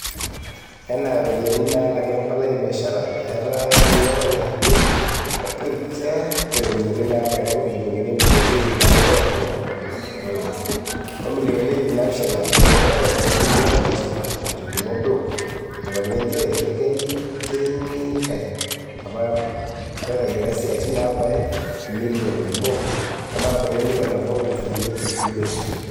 Enaa iropiyiani naalaki e mpalai e biashara, eeta olning'o ireteni opikia iropiyiani naabaya injilingini ibilioni iip naudo o tomon o naudo o milioni iip naapishana tenchetare ong'ulia wejitin, etolimuo Brook, eponiki njere keenyitay apa meitobira isiatin naabaya e milin nabo ometabaiki e milion nabo o nkalifuni iip imiet.